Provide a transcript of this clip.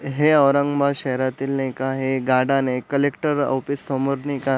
हे औरंगाबाद शहरातील एक आहे एक गार्डन ये कलेक्टर ऑफिस समोर नाई का--